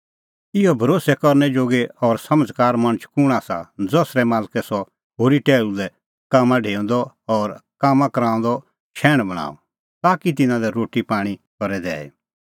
इहअ भरोस्सै करनै जोगी और समझ़कार मणछ कुंण आसा ज़सरै मालकै सह होरी टैहलू लै कामां ढेऊंदअ और कामां कराऊंदअ शैहण बणांअ ताकि तिन्नां लै रोटी पाणीं करे दैई